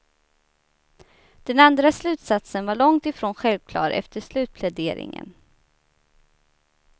Den andra slutsatsen var långtifrån självklar efter slutpläderingen.